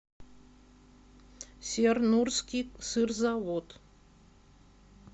сернурский сырзавод